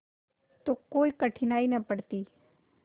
तो कोई कठिनाई न पड़ती